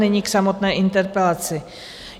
Nyní k samotné interpelaci.